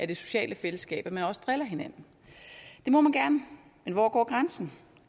det sociale fællesskab det må man gerne men hvor går grænsen